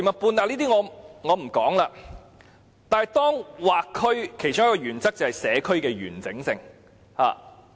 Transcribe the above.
不過，劃區的其中一個原則就是保留社區的完整性。